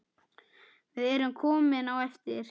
Við erum komin á eftir.